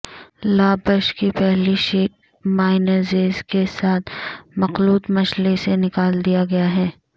لابش کی پہلی sheet mayonnaise کے ساتھ مخلوط مچھلی سے نکال دیا گیا ہے